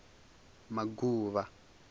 maguvha